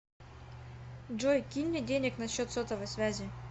джой кинь мне денег на счет сотовой связи